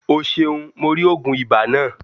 O seun. Mo ri ogun iba naa.